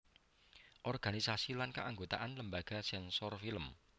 Organisasi lan Keanggotaan Lembaga Sensor Film